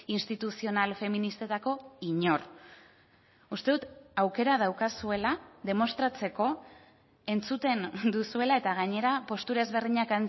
instituzional feministetako inor uste dut aukera daukazuela demostratzeko entzuten duzuela eta gainera postura ezberdinak